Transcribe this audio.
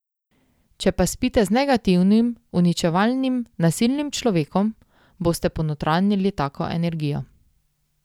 Če pa spite z negativnim, uničevalnim, nasilnim človekom, boste ponotranjili tako energijo.